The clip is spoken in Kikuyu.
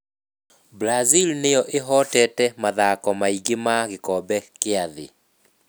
Brazil nĩyo ĩhotete mathako maingĩ ma gĩkombe kĩa thĩ.